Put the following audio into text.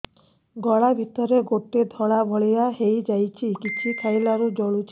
ଗଳା ଭିତରେ ଗୋଟେ ଧଳା ଭଳିଆ ହେଇ ଯାଇଛି କିଛି ଖାଇଲାରୁ ଜଳୁଛି